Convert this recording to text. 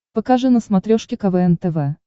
покажи на смотрешке квн тв